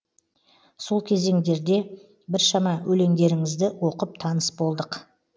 сол кезендерде біршама өлеңдеріңізді оқып таныс болдық